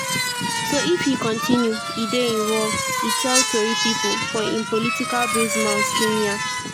so if e kontinu e dey involve” e tell tori pipo for im political base mount kenya.